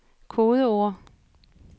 kodeord